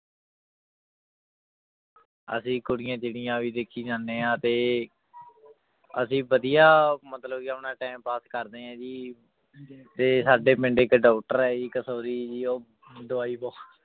ਅਸੀਂ ਕੁੜੀਆਂ ਚਿੱੜੀਆਂ ਵੀ ਦੇਖੀ ਜਾਂਦੇ ਹਾਂ ਤੇ ਅਸੀਂ ਵਧੀਆ ਮਤਲਬ ਕਿ ਆਪਣਾ time pass ਕਰਦੇ ਹਾਂ ਜੀ ਤੇ ਸਾਡੇ ਪਿੰਡ ਇੱਕ doctor ਹੈ ਜੀ ਕਸੋਰੀ ਜੀ ਉਹ ਦਵਾਈ ਬਹੁ